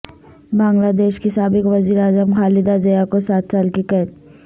بنگلہ دیش کی سابق وزیراعظم خالدہ ضیا کو سات سال کی قید